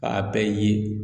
B'a bɛɛ ye